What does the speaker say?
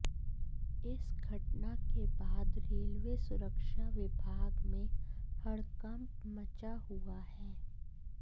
इस घटना के बाद रेलवे सुरक्षा विभाग में हड़कंप मचा हुआ है